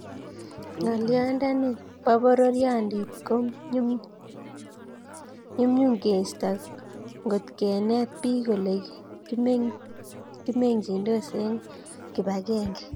Ngolyondoni bo poriondit ko nyamnyum keisto ngotkenet bik Ole kimengchindos eng kibagenge